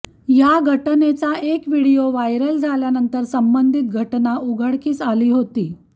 या घटनेचा एक व्हिडिओ व्हायरल झाल्यानंतर संबंधित घटना उघडकीस आली होती